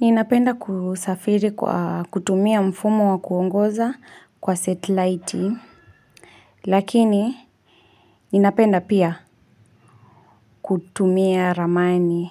Ninapenda kuusafiri kwaa kutumia mfumo wa kuongoza kwa setiliti Lakini, ninapenda pia kutumia Ramani